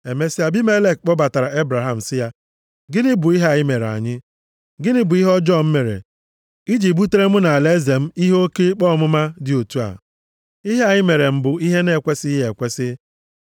Emesịa, Abimelek kpọbatara Ebraham sị ya, “Gịnị bụ ihe a i mere anyị? Gịnị bụ ihe ọjọọ m mere i ji butere mụ na alaeze m ihe oke ikpe ọmụma dị otu a? Ihe a i mere m bụ ihe na-ekwesighị ekwesi.”